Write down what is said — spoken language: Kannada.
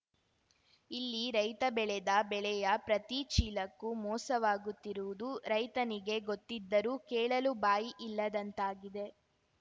ಇಲ್ಲಿ ರೈತ ಬೆಳೆದ ಬೆಳೆಯ ಪ್ರತಿ ಚೀಲಕ್ಕೂ ಮೋಸವಾಗುತ್ತಿರುವುದು ರೈತನಿಗೆ ಗೊತ್ತಿದ್ದರೂ ಕೇಳಲು ಬಾಯಿ ಇಲ್ಲದಂತಾಗಿದೆ